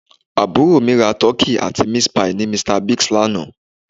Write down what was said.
Àbúrò mi ra Turkey àti Meat pie ní Mr Big lánàá